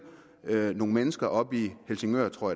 nogle mennesker oppe i helsingør tror